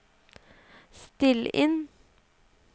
still inn